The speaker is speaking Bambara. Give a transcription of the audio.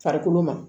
Farikolo ma